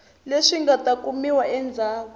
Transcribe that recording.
leswi nga ta kumiwa endzhaku